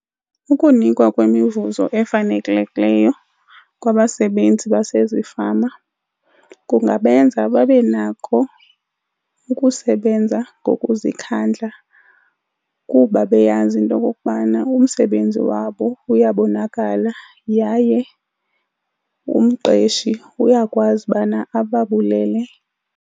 Ukunikwa kwemivuzo efanelekileyo kwabasebenzi basezifama kungabenza babe nako ukusebenza ngokuzikhandla kuba beyazi into yokokubana umsebenzi wabo uyabonakala yaye umqeshi uyakwazi ubana ababulele.